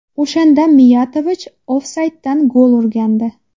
O‘shanda Miyatovich ofsayddan gol urgandi.